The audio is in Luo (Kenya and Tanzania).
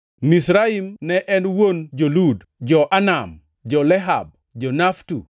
Mizraim ne en wuon jo-Lud, jo-Anam, jo-Lehab, jo-Naftu,